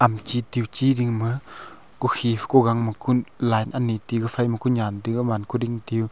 chi tua chi dingma kukhi kugang ma kun line ani ti kufai ma kunyan tu agaman kuding teu.